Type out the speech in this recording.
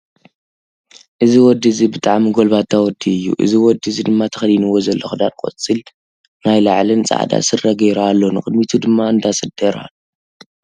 እዚ ወዲ እዚ ብጣዕሚ ጎልባታ ወዲ እዩ። እዚ ወዲ እዚ ድማ ተከዲንዎ ዘሎ ክዳን ቆፃል ናይ ላዕሊን ፃዕዳ ስረ ጌሩ ኣሎ። ንቅድሚቱ ድማ እንዳሰደረ ኣሎ።